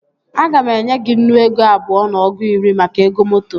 Aga m enye gị nnu ego abụọ na ọgụ iri maka ego moto